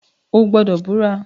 O gbọdọ bura!